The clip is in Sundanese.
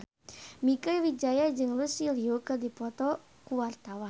Mieke Wijaya jeung Lucy Liu keur dipoto ku wartawan